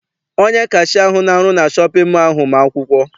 Onye kashia ahụ na-arụ na shọpịn mọọ ahụ ma akwụkwọ.